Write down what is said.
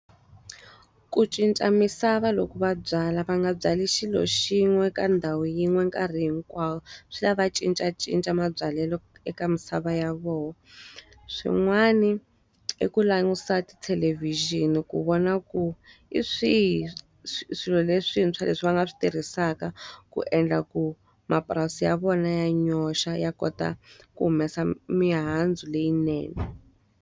Ku cinca misava loko va byala va nga byali xilo xin'we ka ndhawu yin'we nkarhi hinkwawo. Swi lava cincacinca mabyalelo eka misava ya vona. Swin'wana i ku langutisa tithelevhixini ku vona ku hi swihi swilo leswintshwa leswi va nga swi tirhisaka ku endla ku mapurasi ya vona ya nyoxa ya kota ku humesa mihandzu leyinene.